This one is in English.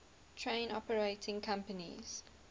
train operating companies